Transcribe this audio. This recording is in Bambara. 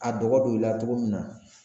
A dɔgɔ don i la cogo min na